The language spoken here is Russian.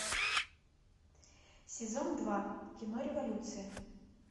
сезон два кино революция